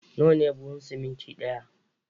Nawa ne buhun siminti ɗaya?